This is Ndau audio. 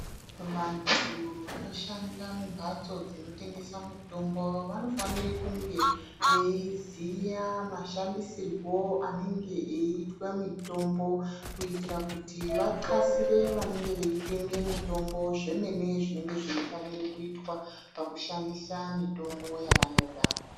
Vantu vanoshanda mumhatso dzinotengesa mitombo vanofanire kunge veiziya mashandisirwo anenge eiitwe mitombo kuitira kuti vatxasire vanenge veitenge mitombo zvemene zvinenge zveifana kuitwa pamitombo yavanoda.